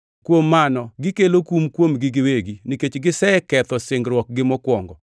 Kuom mano gikelo kum kuomgi giwegi, nikech giseketho singruokgi mokwongo.